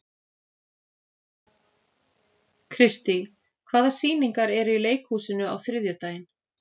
Kristý, hvaða sýningar eru í leikhúsinu á þriðjudaginn?